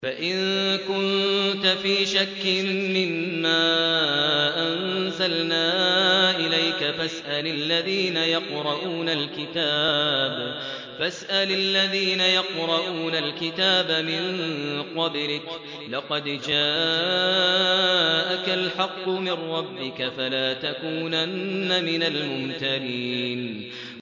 فَإِن كُنتَ فِي شَكٍّ مِّمَّا أَنزَلْنَا إِلَيْكَ فَاسْأَلِ الَّذِينَ يَقْرَءُونَ الْكِتَابَ مِن قَبْلِكَ ۚ لَقَدْ جَاءَكَ الْحَقُّ مِن رَّبِّكَ فَلَا تَكُونَنَّ مِنَ الْمُمْتَرِينَ